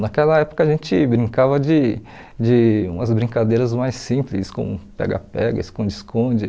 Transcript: Naquela época a gente brincava de de umas brincadeiras mais simples, como pega-pega, esconde-esconde.